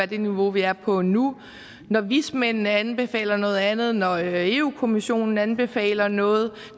det niveau vi er på nu når vismændene anbefaler noget andet når europa kommissionen anbefaler noget og